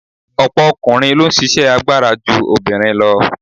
Ọ̀pọ̀ ọkùnrin ló ń ṣisẹ́ agbára ju obìnrin lọ.